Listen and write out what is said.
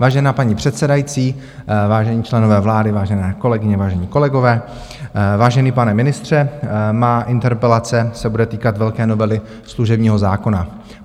Vážená paní předsedající, vážení členové vlády, vážené kolegyně, vážení kolegové, vážený pane ministře, má interpelace se bude týkat velké novely služebního zákona.